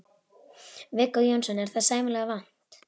Viggó Jónsson: Er það sæmilega vænt?